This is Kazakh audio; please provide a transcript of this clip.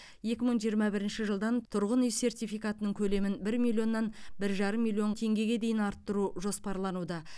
екі мың жиырма бірінші жылдан тұрғын үй сертификатының көлемін бір миллионнан бір жарым миллион теңгеге дейін арттыру жоспарлануда